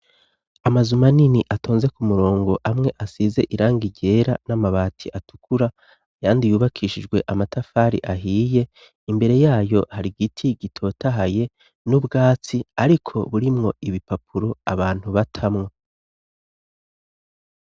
amazu manini atonze ku murongo amwe asize irangi ryera n'amabati atukura yandi yubakishijwe amatafari ahiye imbere yayo hari giti gitotahaye n'ubwatsi ariko burimwo ibipapuro abantu batamwo